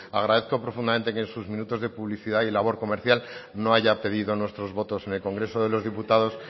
agradezco profundamente que en sus minutos de publicidad y labor comercial no haya pedido nuestros votos en el congreso de los diputados